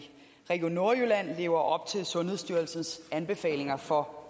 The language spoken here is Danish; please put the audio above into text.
region nordjylland at leve op til sundhedsstyrelsens anbefalinger for